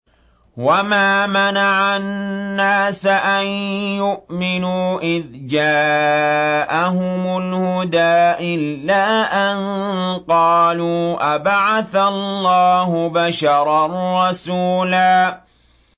وَمَا مَنَعَ النَّاسَ أَن يُؤْمِنُوا إِذْ جَاءَهُمُ الْهُدَىٰ إِلَّا أَن قَالُوا أَبَعَثَ اللَّهُ بَشَرًا رَّسُولًا